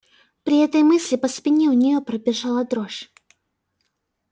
при этой мысли по спине у неё пробежала дрожь